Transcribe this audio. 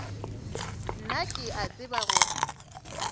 nna ke a tseba gore